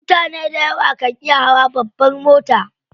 Mutane dayawa kan iya hawa babbar mota.